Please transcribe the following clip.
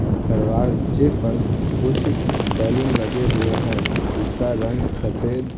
दरवाजे पर कुछ बैलून लगे हुए हैं जिसका रंग सफ़ेद --